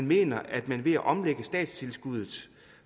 mener at man ved at omlægge statstilskuddet